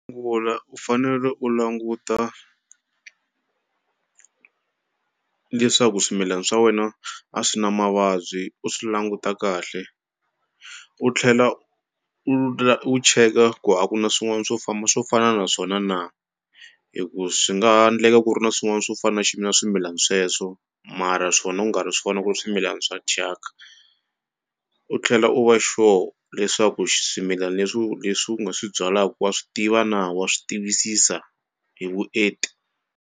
u fanele u languta leswaku swimilana swa wena a swi na mavabyi u swi languta kahle u tlhela u la u cheka ku aka na swin'wana swo famba swo fana na swona na, hi ku swi nga ndleka ku ri na swin'wana swo fana na swimilani sweswo mara swona ku nga ri swona ku ri swimilani swa thyaka, u tlhela u va sure leswaku swimilana leswi leswi u nga swi byalaku wa swi tiva na wa swi tivisisa hi vuenti.